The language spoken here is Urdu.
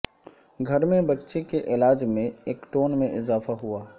گھر میں بچے کے علاج میں ایکٹون میں اضافہ ہوا